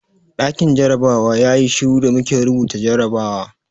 Ɗakin jarabawa yayi shiru da muke rubuta jarrabawa.